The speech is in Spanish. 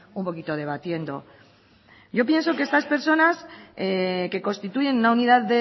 un poquito debatiendo yo pienso que estas personas que constituyen una unidad